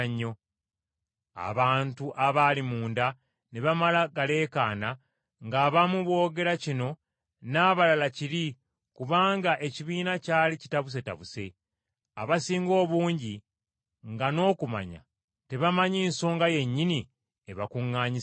Abantu abaali munda ne bamala galeekaana, ng’abamu boogera kino n’abalala kiri kubanga ekibiina kyali kitabusetabuse. Abasinga obungi nga n’okumanya tebamanyi nsonga yennyini ebakuŋŋaanyisizza.